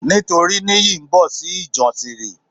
Nítorí nìyí ńbo sí ìjànsírí?